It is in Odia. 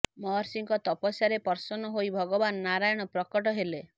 ମହର୍ଷିଙ୍କ ତପସ୍ୟାରେ ପ୍ରସନ୍ନ ହୋଇ ଭଗବାନ ନାରାୟଣ ପ୍ରକଟ ହେଲେ